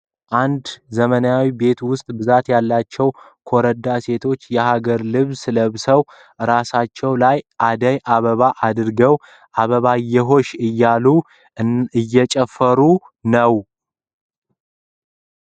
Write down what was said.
አንድ ዘመናዊ ቤት ውስጥ ብዛ ያላቸው ኮረዳ ሴቶች የሀገር ልብስ ለብሰው እራሳቸው ላይ አደይ አበባን አድርገው አበባየሆሽ እያሉ እየጨፈሩ ነው ።